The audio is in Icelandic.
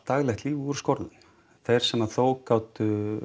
daglegt líf úr skorðum þeir sem að þó gátu